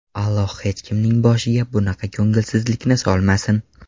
Alloh hech kimning boshiga bunaqa ko‘ngilsizlikni solmasin”.